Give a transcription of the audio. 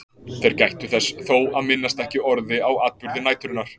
Þeir gættu þess þó að minnast ekki orði á atburði næturinnar.